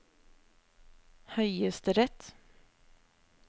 høyesterett